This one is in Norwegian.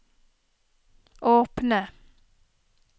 åpne